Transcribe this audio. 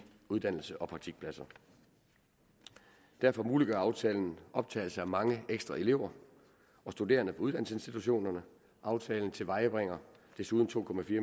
uddannelse og praktikpladser derfor muliggør aftalen optagelse af mange ekstra elever og studerende på uddannelsesinstitutionerne aftalen tilvejebringer desuden to